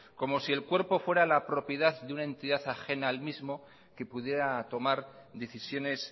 como si el cuerpo fuera la propiedad de una entidad ajena a él mismo que pudiera tomar decisiones